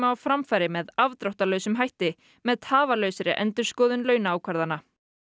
á framfæri með afdráttarlausum hætti með tafarlausri endurskoðun launaákvarðana